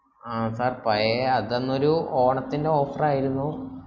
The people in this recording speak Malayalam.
ആഹ് sir പയയ അതന്നൊരു ഓണത്തിന്റെ offer ആയിരുന്നു